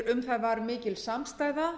um það var mikil samstaða